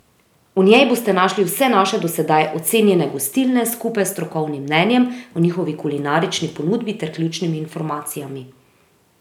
V njej boste našli vse naše do sedaj ocenjene gostilne skupaj s strokovnim mnenjem o njihovi kulinarični ponudbi ter ključnimi informacijami.